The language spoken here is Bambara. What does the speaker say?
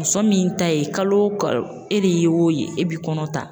Muso min ta ye kalo o kalo e de ye o ye e bi kɔnɔ ta